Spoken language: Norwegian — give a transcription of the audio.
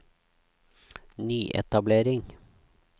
nyetablering